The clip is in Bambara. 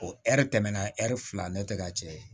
O ɛri tɛmɛna ɛri fila ne tɛ ka cɛ ye